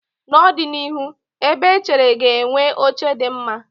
N'ọdịnihu, ebe echere ga-enwe oche dị mma.